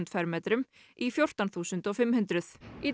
fermetrum í fjórtán þúsund og fimmhundruð í